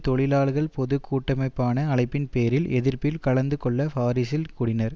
தொழிலாளர் பொது கூட்டமைப்பான அழைப்பின் பேரில் எதிர்ப்பில் கலந்து கொள்ள பாரிசில் கூடினர்